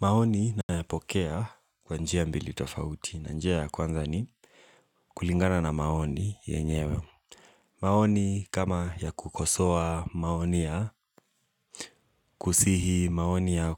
Maoni nayapokea kwa njia mbili tofauti. Na njia ya kwanza ni kulingana na maoni yenyewe. Maoni kama ya kukosowa maoni ya kusihi, maoni ya